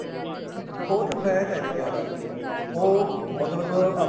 ਉਸ ਚ fat ਏ ਜੀ ਜਿਆਦਾ ਉਹ ਮਤਲਬ